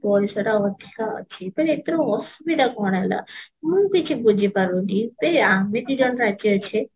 ପଇସାଟା ଅଧିକା ଅଛି ତ ଏଥିର ଅସୁବିଧା କଣ ହେଲା ମୁଁ କିଛି ବୁଝିପାରୁନି ବେ ଆମେ ଦି ଜଣ ରାଜି ଅଛେ